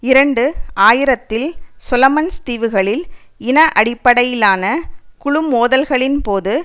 இரண்டு ஆயிரத்தில் சொலமன்ஸ் தீவுகளில் இன அடிப்படையிலான குழுமோதல்களின்போது